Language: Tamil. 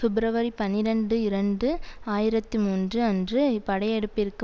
பிப்ரவரி பனிரண்டு இரண்டு ஆயிரத்தி மூன்று அன்று படையெடுப்பிற்கு